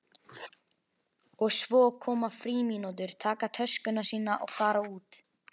Og svo koma frímínútur, taka töskuna sína og fara út.